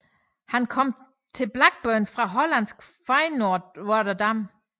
Han kom til Blackburn fra hollandske Feyenoord Rotterdam